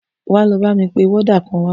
Wà á lọ bá mí pé wọ́dà kan wá!